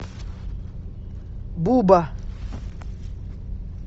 буба